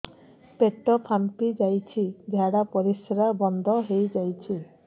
ପେଟ ଫାମ୍ପି ଯାଇଛି ଝାଡ଼ା ପରିସ୍ରା ବନ୍ଦ ହେଇଯାଇଛି